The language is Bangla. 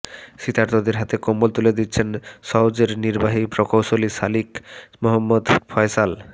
শীতার্তদের হাতে কম্বল তুলে দিচ্ছেন সওজের নির্বাহী প্রকৌশলী শাকিল মোহাম্মদ ফয়সাল